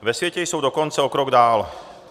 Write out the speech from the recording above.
Ve světě jsou dokonce o krok dál.